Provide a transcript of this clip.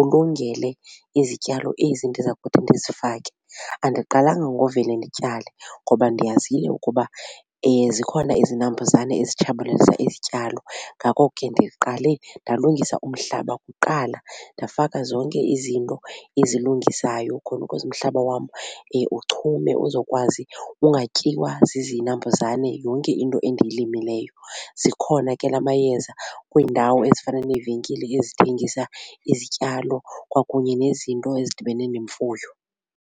ulungele izityalo ezi ndiza kuthi ndizifake. Andiqalanga ngovele ndityale ngoba ndiyazile ukuba zikhona izinambuzane ezitshabalalisa izityalo ngako ke ndiqale ndalungisa umhlaba kuqala ndafaka zonke izinto ezilungisayo khona ukuze umhlaba wam uchume uzokwazi ungatyiwa zizinambuzane yonke into endiyilimileyo. Zikhona ke la mayeza kwiindawo ezifana neevenkile ezithengisa izityalo kwakunye nezinto ezidibene nemfuyo.